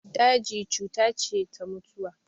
Daji cuta ce ta mutuwa.